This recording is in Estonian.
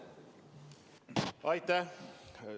Aitäh!